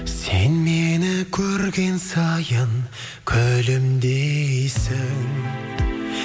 сен мені көрген сайын күлімдейсің